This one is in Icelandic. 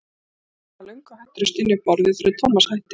Og maðurinn var löngu hættur að stynja upp orði þegar Thomas hætti.